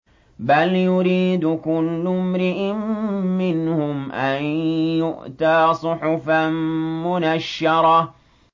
بَلْ يُرِيدُ كُلُّ امْرِئٍ مِّنْهُمْ أَن يُؤْتَىٰ صُحُفًا مُّنَشَّرَةً